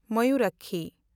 Mayurakshi